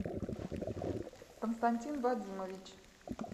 константин вадимович